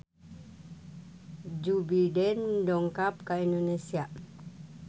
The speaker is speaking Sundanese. Joe Biden dongkap ka Indonesia